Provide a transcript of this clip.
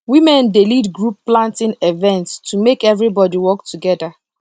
women dey lead group planting events to make everybody work together